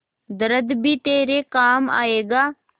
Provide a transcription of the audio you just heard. दर्द भी तेरे काम आएगा